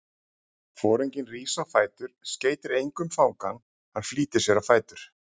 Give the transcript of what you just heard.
Foringinn rís á fætur, skeytir engu um fangann, hann flýtir sér á fætur.